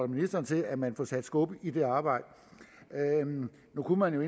ministeren til at man får sat skub i det arbejde nu kunne man jo